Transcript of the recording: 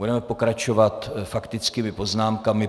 Budeme pokračovat faktickými poznámkami.